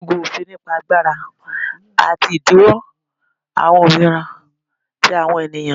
ologun, ofin nipa agbara ati idinwo awọn ominira ti awọn eniyan.